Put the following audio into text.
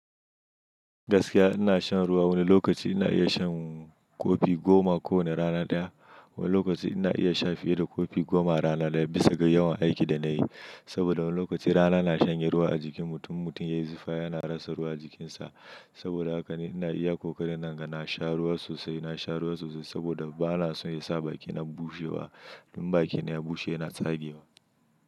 Gaskiya ina shan ruwa. Wani lokaci ina iya shan kofi goma ko wane rana ɗaya. Wani lokaci ina iya sha fiye da kofi goma rana ɗaya bisa ga yawan aikin da nayi. Saboda wani lokaci rana na shanye ruwa a jikin mutum, mutum ya yi zufa yana rasa ruwa jikinsa. Saboda haka ni ina iya ƙoƙarin na ga na sha ruwa sosai. Na sha ruwa sosai saboda bana son ya sa bakina bushewa. In bakina ya bushe yana tsage wa.